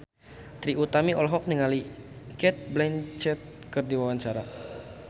Trie Utami olohok ningali Cate Blanchett keur diwawancara